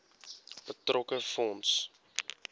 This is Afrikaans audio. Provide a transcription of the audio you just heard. betrokke fonds